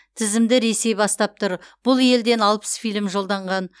тізімді ресей бастап тұр бұл елден алпыс фильм жолданған